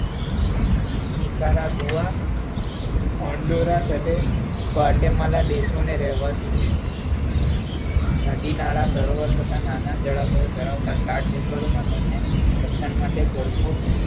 નિકારા નદીનાળા, સરોવર કરતા નાના જળાશયો ધરાવતા રાજ્યભરમાં તેના ભક્ષણ માટે ભરપૂર